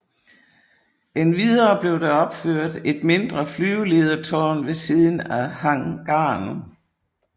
Endvidere blev der opført et mindre flyveledertårn ved siden af hangaren